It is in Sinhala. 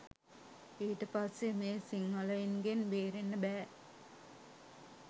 ඊට පස්සේ මේ සිංහලයින්ගෙන් බේරෙන්න බෑ